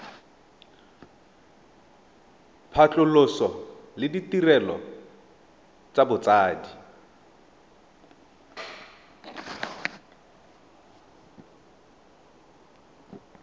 phatlhoso le ditirelo tsa botsadi